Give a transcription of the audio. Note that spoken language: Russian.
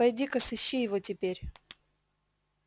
пойди ка сыщи его теперь